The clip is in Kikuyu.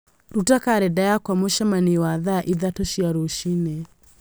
Rũta kalendarĩ yakwa mũcemanio wa thaa ithatũ cia rũcinĩ